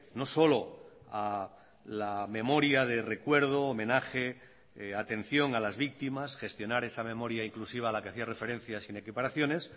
no solo a la memoria de recuerdo homenaje atención a las víctimas gestionar esa memoria inclusiva a la que hacía referencia sin equiparaciones